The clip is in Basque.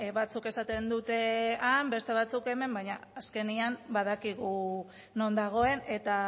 batzuk esaten dute han beste batzuek hemen baina azkenean badakigu non dagoen eta